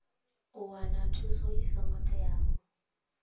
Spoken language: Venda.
u wana thuso i songo teaho